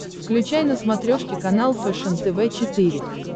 включай на смотрешке канал фэшен тв четыре к